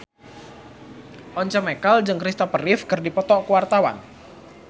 Once Mekel jeung Christopher Reeve keur dipoto ku wartawan